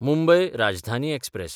Mumbai Rajdhani express